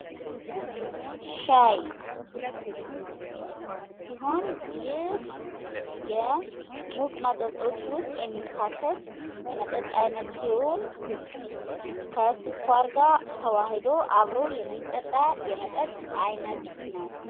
ሻይ ሲሆን ይህ የሙቅ መጠጦች ዉስጥ የሚካተት የመጠጥ አይነት ሲሆን ፤ ከሱካርጋ ተዋህዶ አብሮ የሚጠጣ የመጠጥ አይነት ነው።